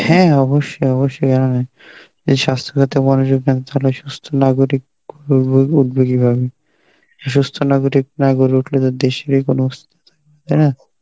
হ্যাঁ অবশ্যই অবশ্যই আমি, যে স্বাস্থ্য ক্ষেত্রে মানুষের সুস্থ নাগরিক সুস্থ নাগরিক না গড়ে উঠলে তো দেশের কোন অস্তিত্ব থাকবে না, তাই না?